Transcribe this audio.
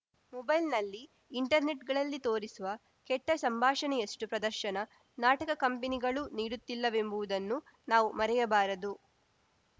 ಮೊಬೈಲ್‌ನಲ್ಲಿ ಇಂಟರ್‌ನೆಟ್‌ಗಳಲ್ಲಿ ತೋರಿಸುವ ಕೆಟ್ಟಸಂಭಾಷಣೆಯಷ್ಟುಪ್ರದರ್ಶನ ನಾಟಕ ಕಂಪನಿಗಳೂ ನೀಡುತ್ತಿಲ್ಲವೆಂಬುವುದನ್ನು ನಾವು ಮರೆಯಬಾರದು